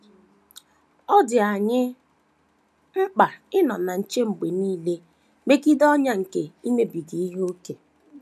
Ọ dị anyị mkpa ịnọ na nche mgbe nile megide ọnyà nke imebiga ihe ókè.